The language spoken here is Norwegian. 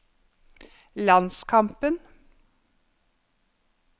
landskampen